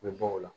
U bɛ bɔ o la